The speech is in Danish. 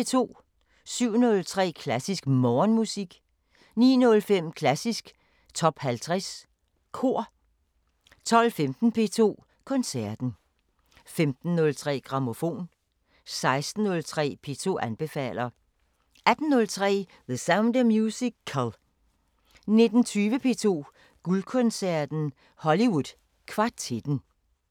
07:03: Klassisk Morgenmusik 09:05: Klassisk Top 50 Kor 12:15: P2 Koncerten 15:03: Grammofon 16:03: P2 anbefaler 18:03: The Sound of Musical 19:20: P2 Guldkoncerten: Hollywood Kvartetten